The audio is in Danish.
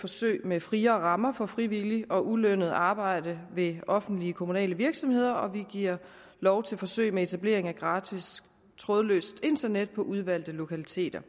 forsøg med friere rammer for frivilligt og ulønnet arbejde ved offentlige kommunale virksomheder og vi giver lov til forsøg med etablering af gratis trådløst internet på udvalgte lokaliteter